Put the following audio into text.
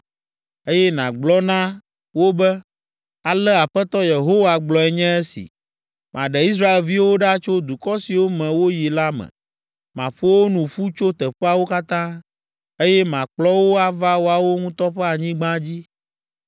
eye nàgblɔ na wo be, ‘Ale Aƒetɔ Yehowa gblɔe nye esi: Maɖe Israelviwo ɖa tso dukɔ siwo me woyi la me. Maƒo wo nu ƒu tso teƒeawo katã, eye makplɔ wo ava woawo ŋutɔ ƒe anyigba dzi.